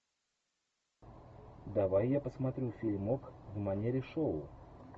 давай я посмотрю фильмок в манере шоу